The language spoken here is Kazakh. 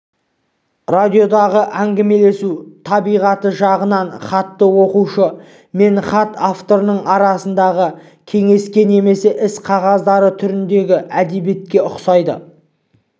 радиодағы әңгімелесу табиғаты жағынан хатты оқушы мен хат авторының арасындағы кеңеске немесе іс қағаздары түріндегі әдебиетке ұқсайды